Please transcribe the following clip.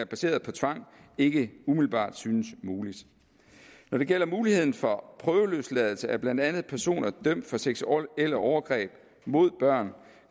baseret på tvang ikke umiddelbart synes mulig når det gælder muligheden for prøveløsladelse af blandt andet personer dømt for seksuelle overgreb mod børn